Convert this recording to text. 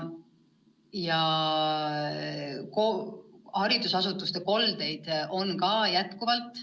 Ja haridusasutuste koldeid on ka jätkuvalt.